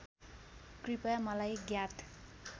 कृपया मलाई ज्ञात